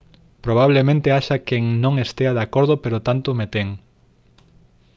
«probablemente haxa quen non estea de acordo pero tanto me ten